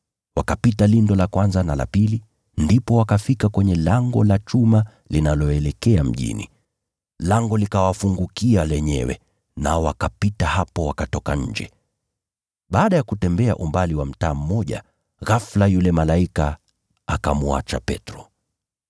Wakapita lindo la kwanza na la pili, ndipo wakafika kwenye lango la chuma linaloelekea mjini. Lango likawafungukia lenyewe, nao wakapita hapo wakatoka nje. Baada ya kutembea umbali wa mtaa mmoja, ghafula yule malaika akamwacha Petro.